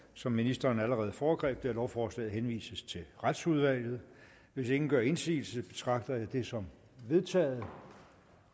som ministeren allerede foregreb at lovforslaget henvises til retsudvalget hvis ingen gør indsigelse betragter jeg dette som vedtaget